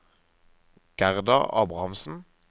Gerda Abrahamsen